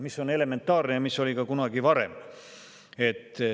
See on elementaarne ja see oli ka kunagi varem.